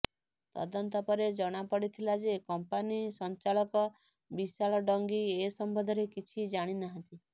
ତଦନ୍ତ ପରେ ଜଣାପଡିଥିଲା ଯେ କମ୍ପାନୀ ସଞ୍ଚାଳକ ବିଶାଳ ଡଙ୍ଗି ଏ ସମ୍ବନ୍ଧରେ କିଛି ଜାଣିନାହାନ୍ତି